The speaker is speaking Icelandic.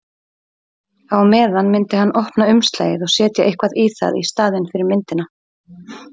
Á meðan myndi hann opna umslagið og setja eitthvað í það í staðinn fyrir myndina.